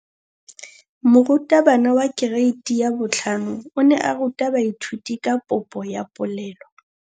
Moratabana wa kereiti ya 5 o ne a ruta baithuti ka popô ya polelô.